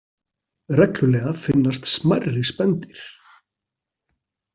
Reglulega finnast smærri spendýr.